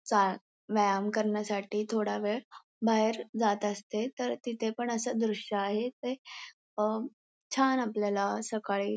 चाळ व्यायाम करण्यासाठी थोडा वेळ बाहेर जात असते तर तिथे पण असे दृश्य आहे ते अं छान आपल्याला सकाळी--